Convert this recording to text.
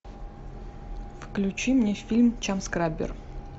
включи мне фильм чамскраббер